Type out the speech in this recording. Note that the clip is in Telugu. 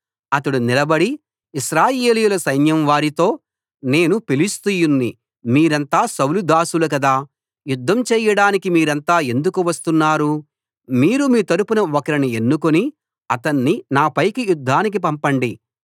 అతడు నిలబడి ఇశ్రాయేలీయుల సైన్యం వారితో నేను ఫిలిష్తీయుణ్ణి మీరంతా సౌలు దాసులు కదా యుద్ధం చేయడానికి మీరంతా ఎందుకు వస్తున్నారు మీరు మీ తరఫున ఒకరిని ఎన్నుకుని అతణ్ణి నాపైకి యుద్ధానికి పంపండి